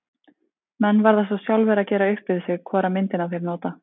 Menn verða svo sjálfir að gera upp við sig hvora myndina þeir nota.